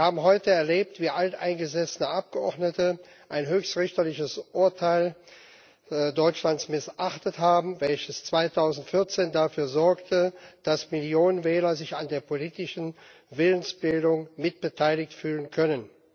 Wir haben heute erlebt, wie alteingesessene Abgeordnete ein höchstrichterliches Urteil Deutschlands missachtet haben, welches 2014 dafür sorgte, dass Millionen Wähler sich an der politischen Willensbildung mitbeteiligt fühlen können.